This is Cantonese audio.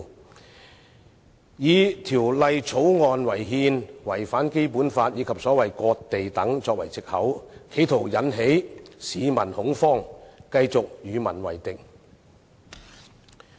他們以《條例草案》違憲、違反《基本法》及所謂"割地"等為藉口，企圖引起市民恐慌，繼續與民為敵。